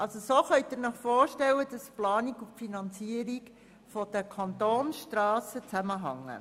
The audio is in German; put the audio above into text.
So können Sie sich vorstellen, dass die Planung und die Finanzierung der Kantonsstrassen zusammenhängen.